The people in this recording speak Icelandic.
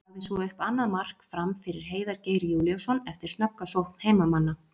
Hann lagði svo upp annað mark Fram fyrir Heiðar Geir Júlíusson eftir snögga sókn heimamanna.